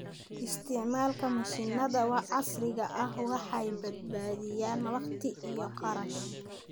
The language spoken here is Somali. Isticmaalka mashiinnada casriga ah waxay badbaadiyaan waqti iyo kharash.